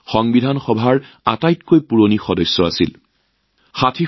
সংবিধান সভাৰ আটাইতকৈ বয়সীয়াল সদস্য আছিল শ্ৰী সচিদানন্দ সিনহাজী